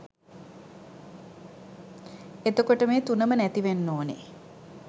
එතකොට මේ තුනම නැතිවෙන්න ඕන